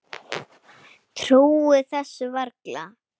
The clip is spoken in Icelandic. Trúði þessu varla.